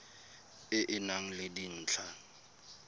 e e nang le dintlha